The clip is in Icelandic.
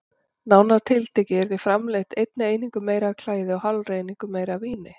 Nánar tiltekið yrði framleitt einni einingu meira af klæði og hálfri einingu meira af víni.